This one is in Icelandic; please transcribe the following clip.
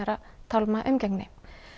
tálma umgengni